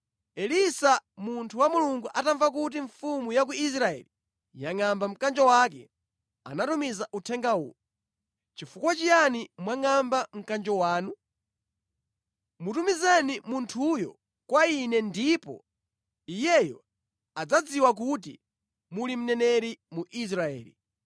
Elisa munthu wa Mulungu atamva kuti mfumu ya ku Israeli yangʼamba mkanjo wake, anatumiza uthenga uwu: “Chifukwa chiyani mwangʼamba mkanjo wanu? Mutumizeni munthuyo kwa ine ndipo iyeyo adzadziwa kuti muli mneneri mu Israeli.”